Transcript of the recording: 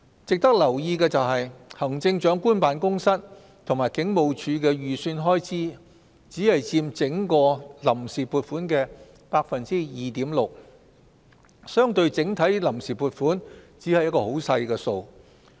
值得留意的是，行政長官辦公室及警務處的預算開支，只佔整項臨時撥款的 2.6%， 相對整體臨時撥款，只是很少的數目。